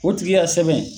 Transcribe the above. O tigi y'a sɛbɛn